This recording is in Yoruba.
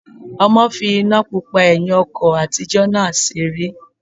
Ọmọ fi iná pupa ẹ̀hìn ọkọ̀ àtijọ́ náà seré